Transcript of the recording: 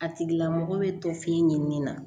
A tigila mɔgɔ bɛ to f'i ɲɛnini na